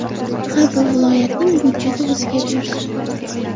Har bir viloyatning budjeti o‘ziga buyursin.